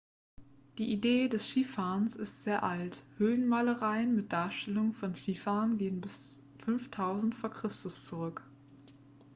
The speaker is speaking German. die idee des skifahrens ist sehr alt höhlenmalereien mit darstellungen von skifahrern gehen bis 5000 v. chr. zurück